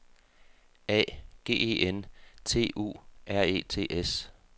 A G E N T U R E T S